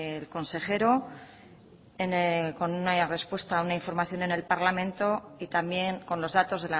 el consejero con una respuesta una información en el parlamento y también con los datos